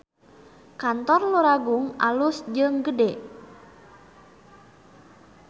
Kantor Luragung alus jeung gede